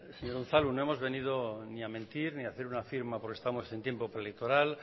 señor unzalu no hemos venido ni a mentir ni a hacer una firma porque estamos en tiempo preelectoral